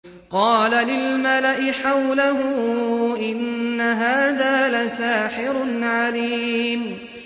قَالَ لِلْمَلَإِ حَوْلَهُ إِنَّ هَٰذَا لَسَاحِرٌ عَلِيمٌ